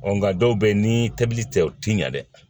nka dɔw bɛ yen ni tobili tɛ u tɛ ɲa dɛ